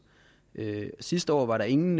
sidste år var der ingen